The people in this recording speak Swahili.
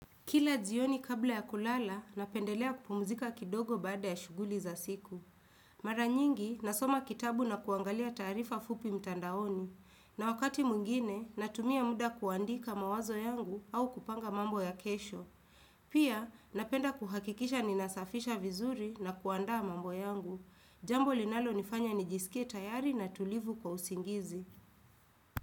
Kila jioni kabla ya kulala, napendelea kupumzika kidogo baada ya shughuli za siku. Mara nyingi, nasoma kitabu na kuangalia taarifa fupi mtandaoni. Na wakati mwingine, natumia muda kuandika mawazo yangu au kupanga mambo ya kesho. Pia, napenda kuhakikisha ninasafisha vizuri na kuandaa mambo yangu. Jambo linalonifanya nijisikie tayari na tulivu kwa usingizi.